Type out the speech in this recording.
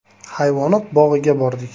Hayvonot bog‘iga bordik.